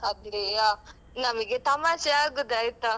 ಅದೇಯಾ ನಮ್ಗೆ ತಮಾಷೆ ಆಗುದ್ ಆಯ್ತಾ.